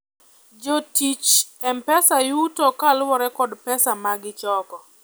jotich mpesa yuto kaluore kod pesa magichoko